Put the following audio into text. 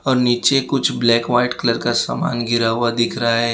और नीचे कुछ व्हाइट कलर का सामान गिरा हुआ दिख रहा है।